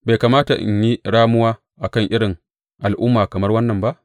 Bai kamata in yi ramuwa a kan irin al’umma kamar wannan ba?